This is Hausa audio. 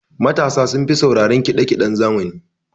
Matasa sun fi sauraran kiɗa kiɗen zamani.